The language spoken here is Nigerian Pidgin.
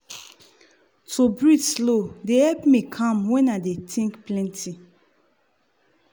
to breathe slow dey help me calm when i dey think plenty.